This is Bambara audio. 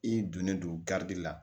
I donnen don garidi la